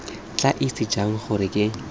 tla itse jang gore ke